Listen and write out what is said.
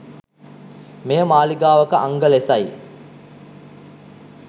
මෙය මාලිගාවක අංග ලෙසයි